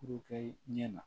Ku kɛ ɲɛ na